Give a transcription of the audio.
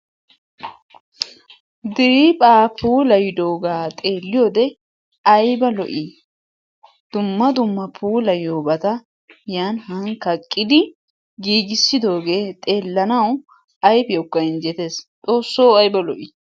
Diriiphpha puulayidooga xeelliyoode ayba lo"i! dumma dumma puulayyiyoobata yan han kaqqidi giigissidooge xeellanaw ayfiyawukka injjetes. Xoosso ayba lo"i!